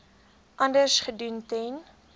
anders gedoen ten